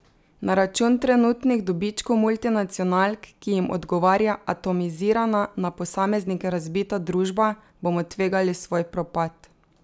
Na račun trenutnih dobičkov multinacionalk, ki jim odgovarja atomizirana, na posameznike razbita družba, bomo tvegali svoj propad.